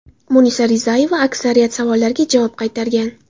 Munisa Rizayeva aksariyat savollarga javob qaytargan.